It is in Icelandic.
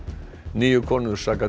níu konur saka